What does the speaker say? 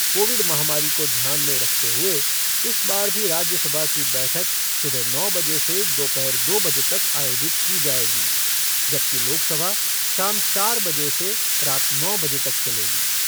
Covid महामारी को ध्यान में रखते हुए इस बार भी राज्यसभा की बैठक सुबह नौ बजे से दोपहर दो बजे तक आयोजित की जायेगी, जबकि लोकसभा शाम चार बजे से रात नौ बजे तक चलेगी।